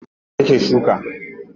Akwai motar da ta ke shuka.